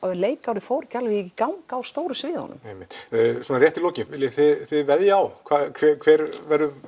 leikárið fór ekki alveg í gang á stóru sviðunum einmitt svona rétt í lokin viljið þið veðja á hver